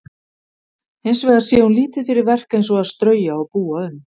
Hins vegar sé hún lítið fyrir verk eins og að strauja og búa um.